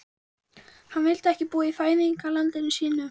Hann vildi ekki búa í fæðingarlandi sínu.